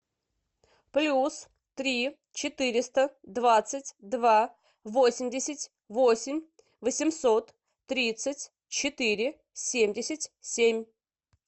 плюс три четыреста двадцать два восемьдесят восемь восемьсот тридцать четыре семьдесят семь